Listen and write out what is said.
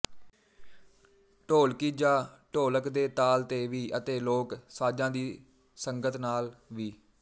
ਢੋਲਕੀ ਜਾਂ ਢੋਲਕ ਦੇ ਤਾਲ ਤੇ ਵੀ ਅਤੇ ਲੋਕ ਸਾਜ਼ਾਂ ਦੀ ਸੰਗਤ ਨਾਲ ਵੀ